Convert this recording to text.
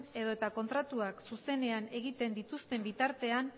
edo eta kontratuak zuzenean egiten dituzten bitartean